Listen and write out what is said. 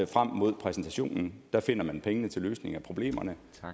frem mod præsentationen finder man pengene til løsningen af problemerne